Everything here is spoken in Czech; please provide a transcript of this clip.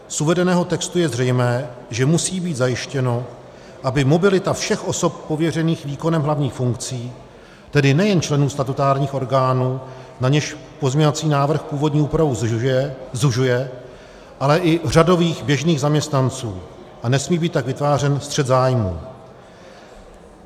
Z uvedeného textu je zřejmé, že musí být zajištěno, aby mobilita všech osob pověřených výkonem hlavních funkcí, tedy nejen členů statutárních orgánů, na něž pozměňovací návrh původní úpravu zužuje, ale i řadových běžných zaměstnanců, a nesmí být tak vytvářen střet zájmů.